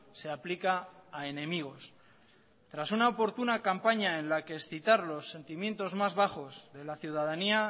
se aplica a enemigos tras una oportuna campaña en la que excitar los sentimientos más bajos de la ciudadanía